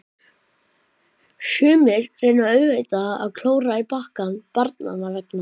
Sumir reyna auðvitað að klóra í bakkann barnanna vegna.